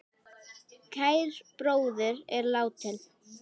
Kær bróðir er látinn.